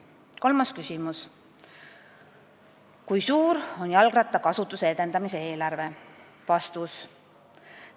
Kolmas küsimus: "Kui suur on jalgrattakasutuse edendamise eelarve?